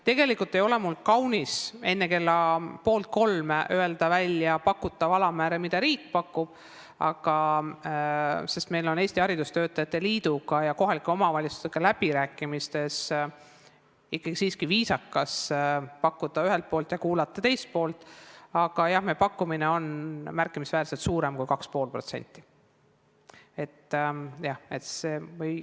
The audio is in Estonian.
Tegelikult ei ole mul kaunis enne poolt kolme öelda, mis on alammäär, mida riik pakub, sest läbirääkimistel Eesti Haridustöötajate Liiduga ja kohalike omavalitsustega on ikkagi viisakas ühelt poolt pakkuda ja kuulata teist poolt, aga meie pakkumine on märkimisväärselt suurem kui 2,5%.